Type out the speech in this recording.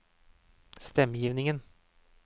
stemmegivningen